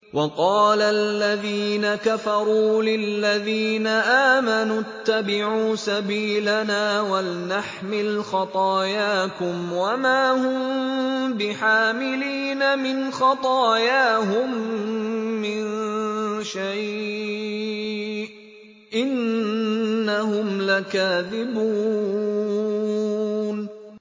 وَقَالَ الَّذِينَ كَفَرُوا لِلَّذِينَ آمَنُوا اتَّبِعُوا سَبِيلَنَا وَلْنَحْمِلْ خَطَايَاكُمْ وَمَا هُم بِحَامِلِينَ مِنْ خَطَايَاهُم مِّن شَيْءٍ ۖ إِنَّهُمْ لَكَاذِبُونَ